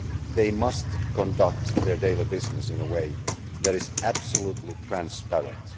They must conduct their daily business in a way that is absolutely transparent